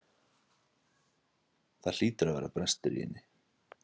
Það hlýtur að vera brestur í henni.